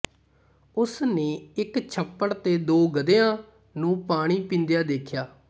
ਉਸ ਨੇ ਇੱਕ ਛੱਪੜ ਤੇ ਦੋ ਗਧਿਆਂ ਨੂੰ ਪਾਣੀ ਪੀਂਦਿਆਂ ਦੇਖਿਆ